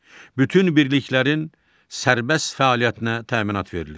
Bütün birliklərin sərbəst fəaliyyətinə təminat verilir.